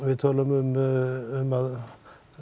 um að